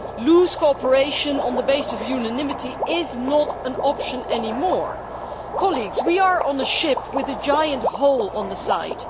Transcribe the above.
loose cooperation on the basis of unanimity is not an option anymore. Colleagues, we are on a ship with a giant hole in its side